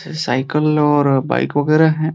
स् साइकिल और बाइक वगैरा हैं।